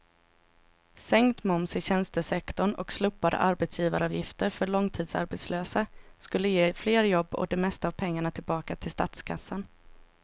Sänkt moms i tjänstesektorn och slopade arbetsgivaravgifter för långtidsarbetslösa skulle ge fler jobb och det mesta av pengarna tillbaka till statskassan.